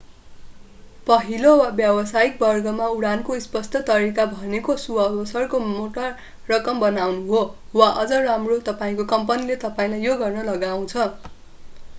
पहिलो वा व्यवसायिक वर्गमा उडानको स्पष्ट तरीका भनेको सुअवसरको मोटा रकम बनाउनु हो वा अझ राम्रो तपाईंको कम्पनीले तपाईंलाई यो गर्न लगाउछ।